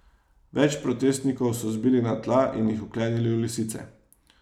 Več protestnikov so zbili na tla in jih vklenili v lisice.